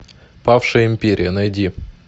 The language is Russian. павшая империя найди